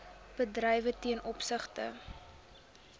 bedrywe ten opsigte